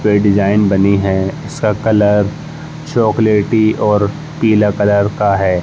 पे डिज़ाइन बनी है। इसका कलर चॉकलेटी और पीला कलर का है।